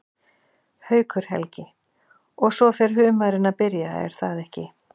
Haukur Helgi: Og svo fer humarinn að byrja er það ekki?